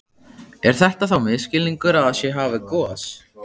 Er þetta þá misskilningur að það sé hafið gos?